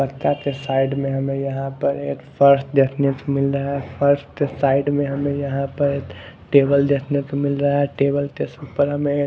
पत्ता के साइड मे हमे यहां पर एक फर्श देखने को मिल रहा है फर्स्ट साइड मे हमे यहां पर टेबल देखने को मिल रहा है टेबल के ऊपर हमें--